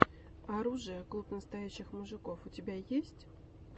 оружие клуб настоящих мужиков у тебя есть